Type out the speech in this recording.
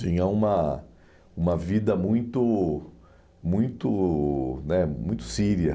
Tinha uma uma vida muito muito né muito síria.